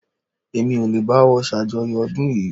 Èmi ò lè báwo ṣàjọyọ̀ ọdún yìí